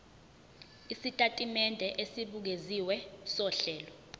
isitatimende esibukeziwe sohlelo